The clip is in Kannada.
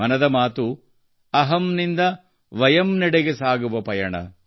ಮನದ ಮಾತು ಅಹಂ ನಿಂದ ವಯಂನೆಡೆಗೆ ಸಾಗುವ ಪಯಣ